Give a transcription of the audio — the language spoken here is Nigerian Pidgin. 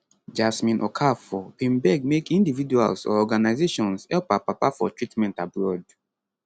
jasmine okafor bin beg make individuals or organizations help her papa for treatment abroad